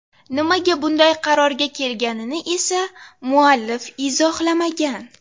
Nimaga bunday qarorga kelganini esa muallif izohlamagan.